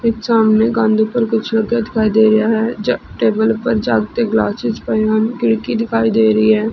ਇਕ ਸਾਮਣੇ ਕੰਧ ਉਪਰ ਕੁਝ ਲੱਗਿਆ ਦਿਖਾਈ ਦੇ ਰਿਹਾ ਹੈ ਜ ਟੇਬਲ ਉਪਰ ਜੱਗ ਤੇ ਗਲਾਸਿਸ ਪਏ ਹੋਏ ਨੇ ਖਿੜਕੀ ਦਿਖਾਈ ਦੇ ਰਹੀ ਹੈ।